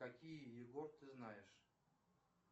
какие егор ты знаешь